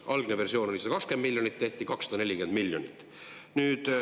Algne versioon oli 120 miljonit, siis tehti 240 miljonit.